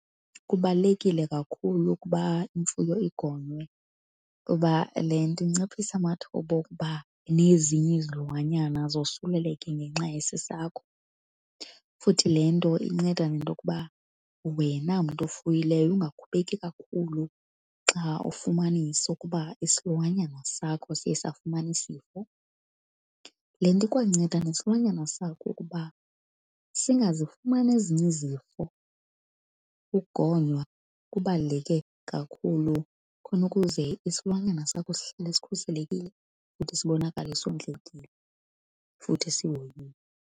Kubalulekile kakhulu ukuba imfuyo igonywe, kuba le nto inciphisa amathuba okuba nezinye izilwanyana zosuleleke ngenxa yesi sakho, futhi le nto inceda nento yokuba wena mntu ofuyileyo ungakhubeki kakhulu xa ufumanisa ukuba isilwanyana sakho siye safumana isifo. Le nto ikwanceda nesilwanyana sakho ukuba singazifumana ezinye izifo. Ukugonywa kubaluleke kakhulu khona ukuze isilwanyana sakho sihlale sikhuselekile futhi sibonakale sondlekile futhi sihoyiwe.